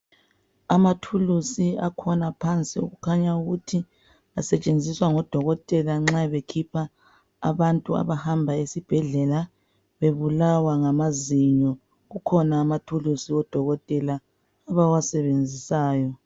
Ama tools akhona phansi okukhanya ukuthi asetshenziswa ngodokotela nxa bekhipha abantu abahamba esibhedlela bebulawa ngamazinyo kukhona ama tools odokotela abawabesenzisayo